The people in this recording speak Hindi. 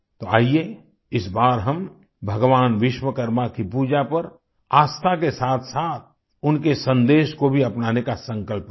तो आइये इस बार हम भगवान विश्वकर्मा की पूजा पर आस्था के साथसाथ उनके संदेश को भी अपनाने का संकल्प करें